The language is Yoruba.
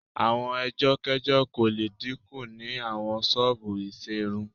Àwọn ẹjọ́kẹ́jọ́ kò le dínkù ni àwọn ṣọ́ọ̀bù ìṣerun